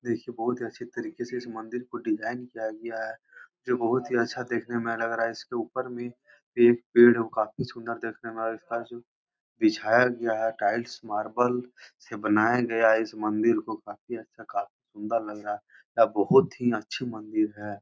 देखिये बोहोत ही अच्छी तरके से इस मंदिर को डिज़ाइन किया गया है| जो बोहोत ही अच्छा देखने में लग रहा है इसके ऊपर भी पे पेड़ो काफी सुन्दर देखने में और इस तरह से जो बिछाया गया है टाइल्स मारबल से बनाया गया है इस मंदिर को काफी अच्छा काफी सुन्दर लग रहा है और बोहोत ही अच्छी मंदिर है।